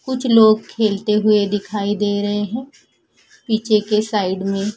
कुछ लोग खेलते हुए दिखाई दे रहे हैं पीछे के साइड में--